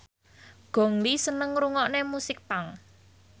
Gong Li seneng ngrungokne musik punk